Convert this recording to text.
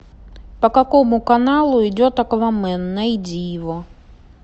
по какому каналу идет аквамен найди его